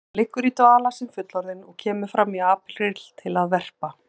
Hann liggur í dvala sem fullorðinn og kemur fram í apríl til að verpa.